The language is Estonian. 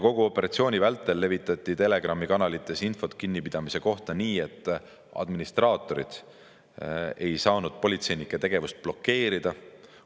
Kogu operatsiooni vältel levitati Telegrami kanalites infot kinnipidamiste kohta nii, et administraatorid ei saanud politseinike tegevust blokeerida.